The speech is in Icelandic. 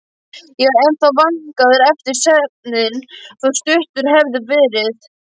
Ég var ennþá vankaður eftir svefninn, þótt stuttur hefði verið.